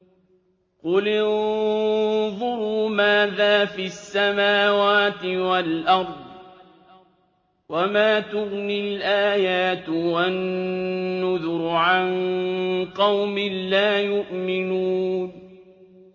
قُلِ انظُرُوا مَاذَا فِي السَّمَاوَاتِ وَالْأَرْضِ ۚ وَمَا تُغْنِي الْآيَاتُ وَالنُّذُرُ عَن قَوْمٍ لَّا يُؤْمِنُونَ